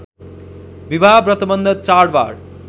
विवाह व्रतवन्ध चाडबाड